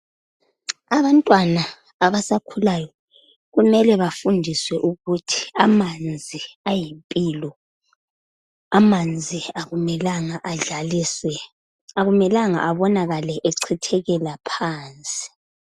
Abantwana abasakhulayo kumele bafundiswe ukuthi amanzi ayimpilo. Amanzi akumelanga adlaliswe, akumelanga abonakale echithekela phansi.